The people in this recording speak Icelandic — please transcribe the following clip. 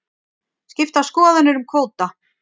Skiptar skoðanir um kvóta